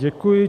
Děkuji.